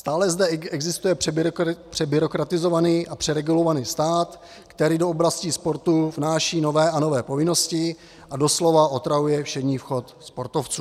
Stále zde existuje přebyrokratizovaný a přeregulovaný stát, který do oblasti sportu vnáší nové a nové povinnosti a doslova otravuje všední chod sportovců.